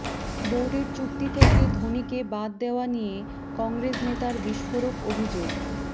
বোর্ডের চুক্তি থেকে ধোনিকে বাদ দেওয়া নিয়ে কংগ্রেস নেতার বিস্ফোরক অভিযোগ